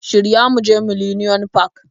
Shirya mu je millenium park